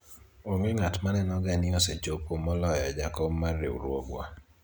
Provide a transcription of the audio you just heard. onge ng'at maneno ga ni osechopo moloyo jakom mar riwruogwa